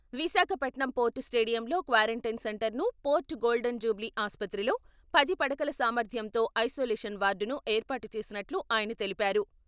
Visakhapatnam port స్టేడియంలో quarantine సెంటర్ను, port golden jubilee ఆసుప్రతిలో పది పడకల సామర్ధ్యంతో ఐసోలేషన్ వార్డును ఏర్పాటు చేసినట్లు ఆయన తెలిపారు.